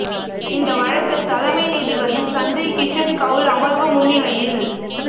இந்த வழக்கு தலைமை நீதிபதி சஞ்சய் கிஷன் கவுல் அமர்வு முன்னிலையில்